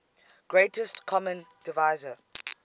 greatest common divisor